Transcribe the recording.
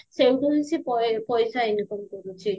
ସେଇଠୁ ହିଁ ସେ ପଇସା income କରୁଚି